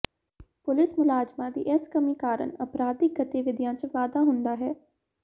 police ਮੁਲਾਜਮਾਂ ਦੀ ਇਸ ਕਮੀ ਕਾਰਨ ਅਪਰਾਧਿਕ ਗਤੀਵਿਧੀਆਂ ਚ ਵਾਧਾ ਹੁੰਦਾ ਹੈ